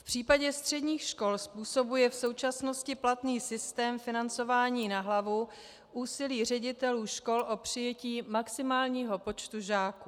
V případě středních škol způsobuje v současnosti platný systém financování na hlavu úsilí ředitelů škol o přijetí maximálního počtu žáků.